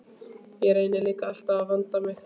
Ég reyni líka alltaf að vanda mig.